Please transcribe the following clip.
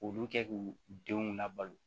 Olu kɛ k'u denw labalo